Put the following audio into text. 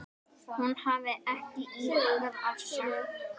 Hún hafi ekki íhugað afsögn.